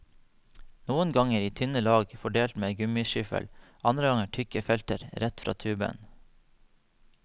Noen ganger i tynne lag fordelt med gummiskyffel, andre ganger tykke felter, rett fra tuben.